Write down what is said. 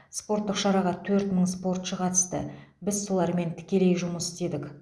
спорттық шараға төрт мың спортшы қатысты біз солармен тікелей жұмыс істедік